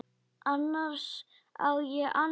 Annars á ég annan pabba.